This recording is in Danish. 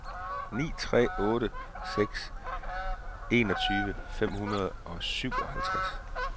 ni tre otte seks enogtyve fem hundrede og syvoghalvtreds